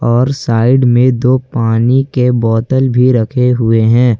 और साइड में दो पानी के बोतल भी रखे हुए हैं।